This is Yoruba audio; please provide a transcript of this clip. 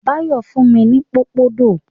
Báyọ̀ fún mi ní pòpondò.